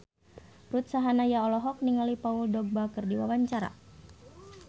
Ruth Sahanaya olohok ningali Paul Dogba keur diwawancara